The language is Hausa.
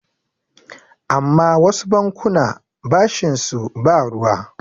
amma wasu bankuna bashinsu ba ruwa